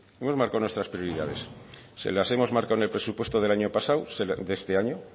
hemos marcado nuestras prioridades se las hemos marcado en el presupuesto de este año